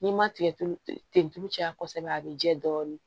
N'i ma tigɛ tulu ten tulu caya kosɛbɛ a bɛ jɛ dɔɔnin